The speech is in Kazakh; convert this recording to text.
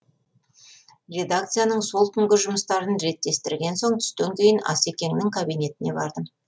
редакцияның сол күнгі жұмыстарын реттестірген соң түстен кейін асекеңнің кабинетіне бардым